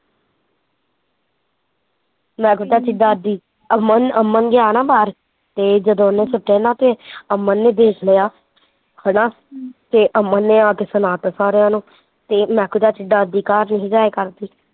ਮਹਿਕੂ ਚਾਚੀ ਡਰਦੀ, ਅਮਨ ਅਮਨ ਗਿਆ ਨਾ ਬਾਹਰ ਤੇ ਜਦੋਂ ਉਹਨੇ ਸੁੱਟੇ ਨਾ ਤੇ ਅਮਨ ਨੇ ਦੇਖ ਲਿਆ, ਹੈਨਾ ਤੇ ਅਮਨ ਨੇ ਆ ਕੇ ਸੁਣਾਤਾ ਸਾਰਿਆ ਨੂੰ, ਤੇ ਮਹਿਕੂ ਚਾਚੀ ਡਰਦੀ ਘਰ ਨੀ ਸੀ ਜਾਇਆ ਕਰਦੀ